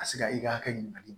A se ka i ka hakɛ ɲininkali